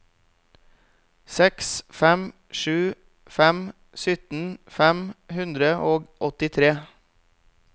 seks fem sju fem sytten fem hundre og åttitre